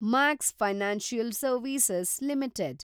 Max financial service limited